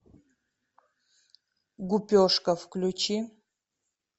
гупешка включи